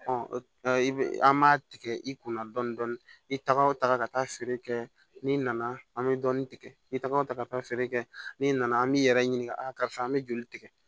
i bɛ an b'a tigɛ i kunna dɔɔnin dɔɔnin i tɛgɛw taga ka taa feere kɛ n'i nana an bɛ dɔɔnin tigɛ i takaw taga ka taa feere kɛ n'i nana an b'i yɛrɛ ɲininka a karisa an bɛ joli tigɛ